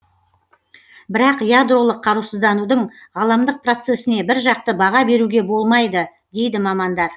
бірақ ядролық қарусызданудың ғаламдық процесіне біржақты баға беруге болмайды дейді мамандар